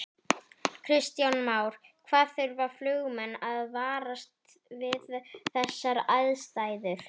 Kristján Már: Hvað þurfa flugmenn að varast við þessar aðstæður?